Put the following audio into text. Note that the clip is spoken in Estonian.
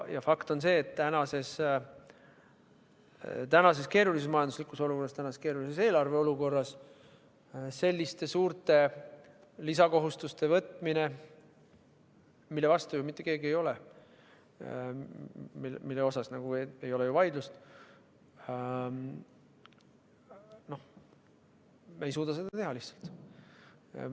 Fakt on see, et tänases keerulises majanduslikus olukorras, tänases keerulises eelarveolukorras selliste suurte lisakohustuste võtmine, mille vastu ju mitte keegi ei ole, mille üle ei ole vaidlust – me ei suuda seda lihtsalt teha.